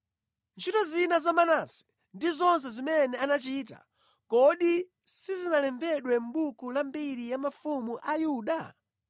Ntchito zina za Manase ndi zonse zimene anachita, kodi sizinalembedwe mʼbuku la mbiri ya mafumu a Yuda?